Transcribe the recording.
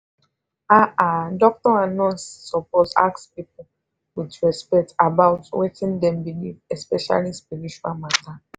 ah ah doctor and nurse suppose ask people with respect about wetin dem believe especially spiritual mata